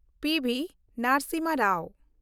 P.B.. Narasimha Rao